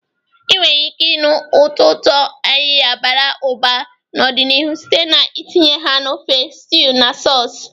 Ị nwere ike ịnụ ụtọ ụtọ ayiya bara ụba n'ọdịniihu site n'itinye ha na ofe, stews, na sauces.